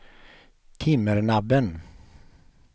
Timmernabben